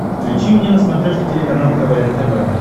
включи мне на смотрешке телеканал квн тв